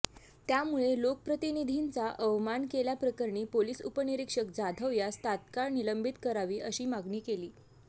त्यामुळे लोकप्रतिनिधींचा अवमान केल्याप्रकरणी पोलिस उपनिरिक्षक जाधव यास तात्काळ निलंबित करावी अशी मागणी केली